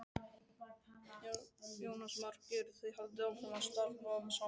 Jónas Margeir: Þið haldið áfram að starfa saman?